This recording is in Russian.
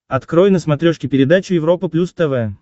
открой на смотрешке передачу европа плюс тв